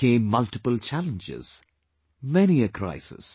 There came multiple challenges ... many a crisis